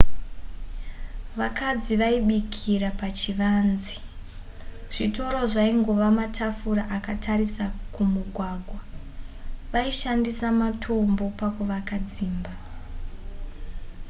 vakadzi vaibikira pachivanze zvitoro zvaingova matafura akatarira kumugwagwa vaishandisa matombo pakuvaka dzimba